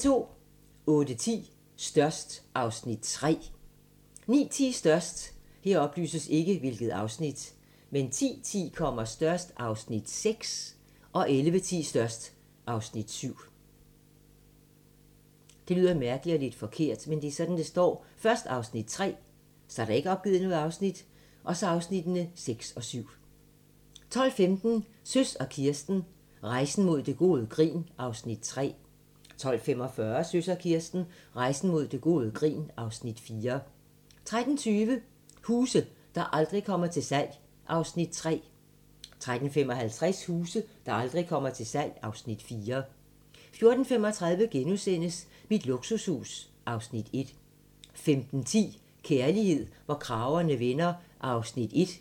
08:10: Størst (Afs. 3) 09:10: Størst 10:10: Størst (Afs. 6) 11:10: Størst (Afs. 7) 12:15: Søs og Kirsten - Rejsen mod gode grin (Afs. 3) 12:45: Søs og Kirsten - Rejsen mod gode grin (Afs. 4) 13:20: Huse, der aldrig kommer til salg (Afs. 3) 13:55: Huse, der aldrig kommer til salg (Afs. 4) 14:35: Mit luksushus (Afs. 1)* 15:10: Kærlighed, hvor kragerne vender (1:8)